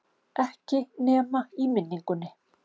Ekki nema í minningunni.